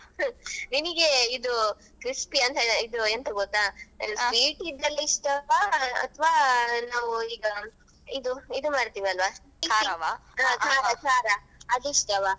ನಿನಗೆ ಇದು crispy ಅಂತ ಇದು ಎಂತ ಗೊತ್ತಾ sweet ದಲ್ಲಿ ಇಷ್ಟವಾ ಅತ್ವಾ ನಾವು ಈಗ ಇದು ಇದು ಮಾಡ್ತೆವೆ ಆಲ್ವಾ ಇದ್ ಹಾ ಖಾರ ಖಾರ ಅದು ಇಷ್ಟವಾ.